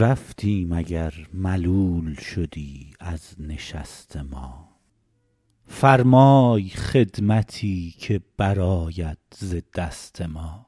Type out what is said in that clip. رفتیم اگر ملول شدی از نشست ما فرمای خدمتی که برآید ز دست ما